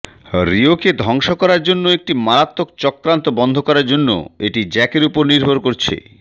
রিওকে ধ্বংস করার জন্য একটি মারাত্মক চক্রান্ত বন্ধ করার জন্য এটি জ্যাকের উপর নির্ভর করছে